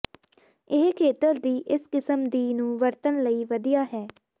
ਇਹ ਖੇਤਰ ਦੀ ਇਸ ਕਿਸਮ ਦੀ ਨੂੰ ਵਰਤਣ ਲਈ ਵਧੀਆ ਹੈ